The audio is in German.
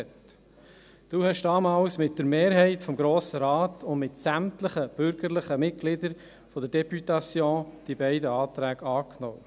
Sie haben damals mit der Mehrheit des Grossen Rates und mit sämtlichen Mitgliedern der Députation diese beiden Anträge angenommen.